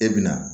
E bɛ na